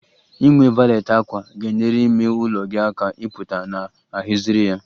Inwe valet ákwà ga-enyere ime ụlọ gị aka ịpụta na a haziri ya